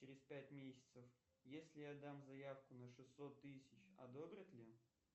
через пять месяцев если я дам заявку на шестьсот тысяч одобрят ли